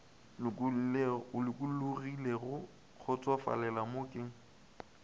lokologilego ka kgotsofalelo mo ke